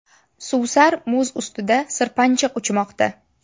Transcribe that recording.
Suvsar muz ustida sirpanchiq uchmoqda.